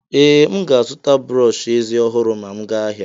Ee, m ga-azụta brọsh eze ọhụrụ ma m ga ahịa.